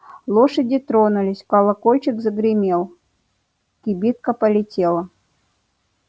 лошади тронулись колокольчик загремел кибитка полетела